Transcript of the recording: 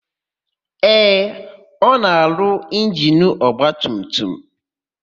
Ee, ọ na-arụ injinu ọgbatumtum.